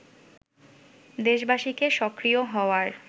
দেশবাসীকে সক্রিয় হওয়ার